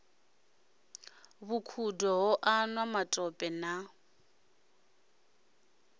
vhukhudo ho anwa matope na